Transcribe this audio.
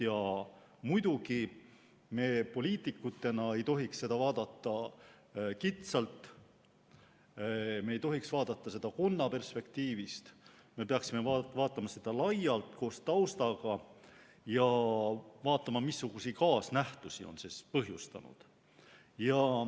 Ja muidugi me poliitikutena ei tohiks seda vaadata kitsalt, me ei tohiks seda vaadata n-ö konna perspektiivist, me peaksime vaatama seda laialt, koos taustaga, ja me peaksime vaatama ka, missuguseid kaasnähtusi see on põhjustanud.